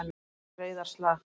Þetta er. reiðarslag.